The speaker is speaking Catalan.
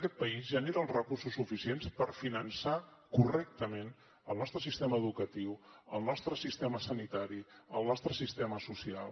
aquest país genera els recursos suficients per finançar correctament el nostre sistema educatiu el nostre sistema sanitari el nostre sistema social